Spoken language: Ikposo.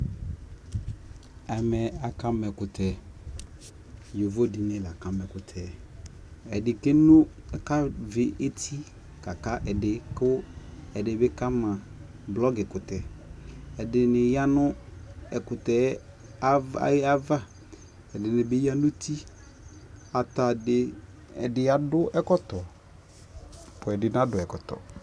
ɛmɛ aka ma ɛkʋtɛ, yɔvɔ dini la kama ɛkʋtɛ, ɛdi kavi ɛti lakʋ ɛdi kama blocki kʋtɛ, ɛdiniyanʋɛkʋtɛ aɣa, ɛdinibi yanʋ ʋti, ɛdi adʋ ɛkɔtɔ, ɛdi nadʋ ɛkɔtɔ